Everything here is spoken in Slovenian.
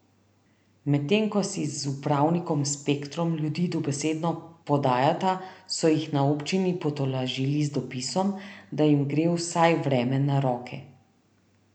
Medtem ko si z upravnikom Spektrom ljudi dobesedno podajata, so jih na občini potolažili z dopisom, da jim gre vsaj vreme na roke.